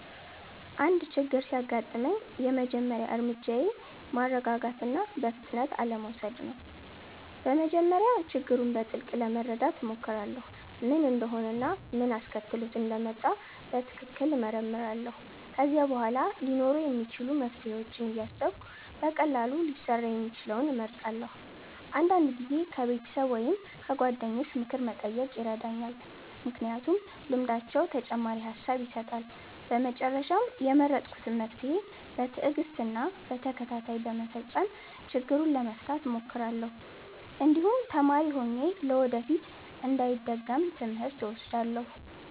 አንድ ችግር ሲያጋጥመኝ የመጀመሪያ እርምጃዬ ማረጋጋት እና በፍጥነት አለመውሰድ ነው። በመጀመሪያ ችግሩን በጥልቅ ለመረዳት እሞክራለሁ፣ ምን እንደሆነ እና ምን አስከትሎት እንደመጣ በትክክል እመረምራለሁ። ከዚያ በኋላ ሊኖሩ የሚችሉ መፍትሄዎችን እያሰብሁ በቀላሉ ሊሰራ የሚችለውን እመርጣለሁ። አንዳንድ ጊዜ ከቤተሰብ ወይም ከጓደኞች ምክር መጠየቅ ይረዳኛል፣ ምክንያቱም ልምዳቸው ተጨማሪ ሐሳብ ይሰጣል። በመጨረሻም የመረጥኩትን መፍትሄ በትዕግስት እና በተከታታይ በመፈጸም ችግሩን ለመፍታት እሞክራለሁ፣ እንዲሁም ተማሪ ሆኜ ለወደፊት እንዳይደገም ትምህርት እወስዳለሁ።